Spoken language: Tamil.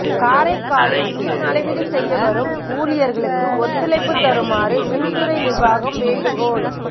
காரைக்காலில் மின் அளவீடு செய்ய வரும் ஊழியா்களுக்கு ஒத்துழைப்புத் தருமாறு மின்துறை நிா்வாகம் வேண்டுகோள்